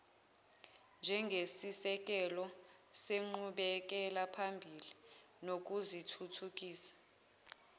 njengesisekelo senqubekelaphambili nokuzithuthukisa